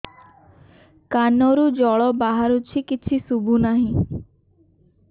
କାନରୁ ଜଳ ବାହାରୁଛି କିଛି ଶୁଭୁ ନାହିଁ